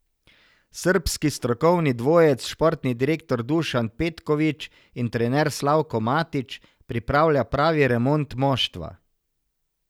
Srbski strokovni dvojec, športni direktor Dušan Petković in trener Slavko Matić, pripravlja pravi remont moštva.